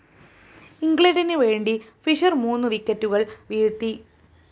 ഇഗ്ലണ്ടിന്‌ വേണ്ടി ഫിഷർ മൂന്നു വിക്കറ്റുകള്‍ വീഴ്ത്തി